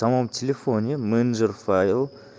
там он в телефоне менеджер файл